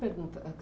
pergunta. Ãh